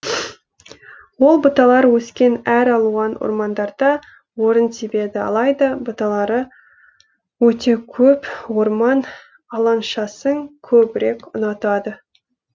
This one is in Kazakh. ол бұталар өскен әр алуан ормандарда орын тебеді алайда бұталары өте көп орман алаңшасын көбірек ұнатады